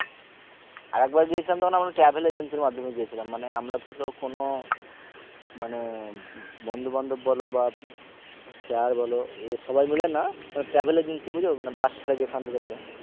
আরেকবার গিয়েছিলাম তখন আমরা travel agency র মাধ্যমে গিয়েছিলাম মানে আমরা ধরো কোনো মানে বন্ধু বান্ধব বলো বা sir বলো এ সবাই মিলে না মানে travel agency বুঝো মানে bus ছারে যেখান থেকে ধরো